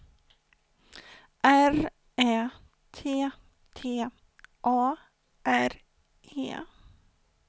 R Ä T T A R E